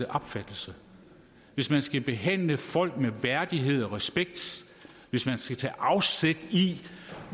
opfattelse hvis man skal behandle folk med værdighed og respekt hvis man skal tage afsæt i